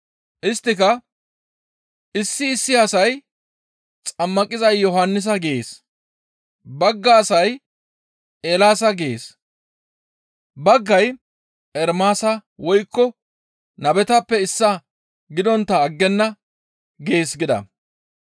Isttika, «Issi issi asay, ‹Xammaqiza Yohannisa› gees; bagga asay, ‹Eelaasa› gees; baggay, ‹Ermaasa woykko nabetappe issaa gidontta aggenna› gees» gida.